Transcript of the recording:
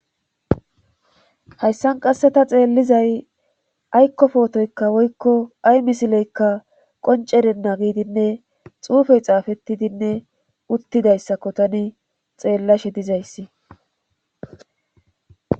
hayssan qasse ta xeellizay aykkofootoykka woykko ay misileykka qoncerenna giidinne xuufey xaafettidinne uttidayssakko tani xeellashe dizayssi